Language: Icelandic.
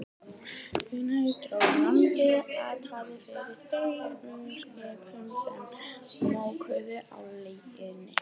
Þegar nær dró landi, hattaði fyrir þremur skipum, sem móktu á legunni.